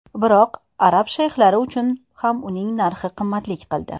Biroq arab shayxlari uchun ham uning narxi qimmatlik qildi.